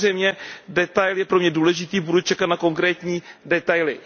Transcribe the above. Samozřejmě detail je pro mě důležitý, budu čekat na konkrétní detaily.